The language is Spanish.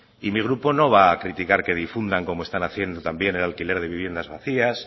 y mi grupo no va a criticar que difundan como están haciendo también el alquiler de viviendas vacías